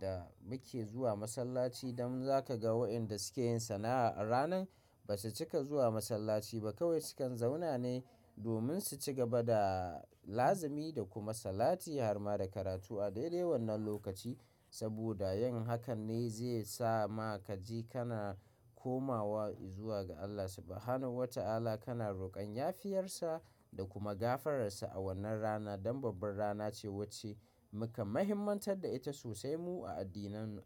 da muke zuwa masallaci. Dan za ka ga wayanda suke yin sana'a a ranan ba su cika zuwa masallaci ba. Kawai sukan zauna ne domin su ci gaba da lazimi da kuma salati har ma da karatu a daidai wannan lokaci. Saboda yin hakan ne zai sa ma kaji kana komawa izuwa ga Allah Subhanahu wa ta'ala kana rokon yafiyarsa da kuma gafararsa a wannan rana. Dan babbar rana ce wacce muka muhimantar da ita sosai mu a addininmu.